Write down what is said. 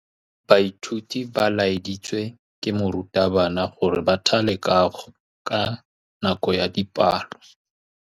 Baithuti ba laeditswe ke morutabana gore ba thale kagô ka nako ya dipalô.